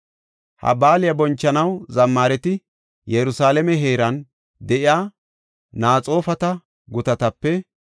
Ha baaliya bonchanaw zammaareti Yerusalaame heeran de7iya Naxoofata gutatape,